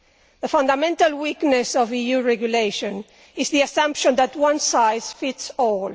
The fundamental weakness of EU regulation is the assumption that one size fits all.